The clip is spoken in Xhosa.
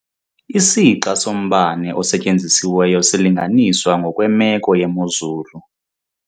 Isixa sombane osetyenzisiweyo silinganiswa ngokwemeko yemozulu.